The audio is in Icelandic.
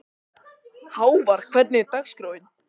Hávar, hvernig er dagskráin?